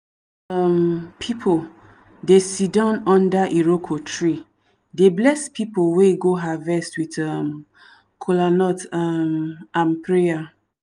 um people dey siddan under iroko tree dey bless people wey go harvest with um kolanut um and prayer.